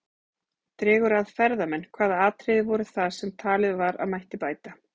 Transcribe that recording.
Dregur að ferðamenn Hvaða atriði voru það sem talið var að mætti bæta?